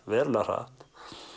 verulega hratt